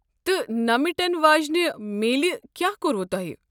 تہٕ نہٕ مِٹن واجِنہِ میٖلہ کیٛاہ کوٚروٕ تۄہہ ؟